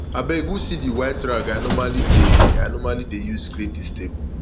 abeg who see the white rag i normally dey i normally dey use clean dis table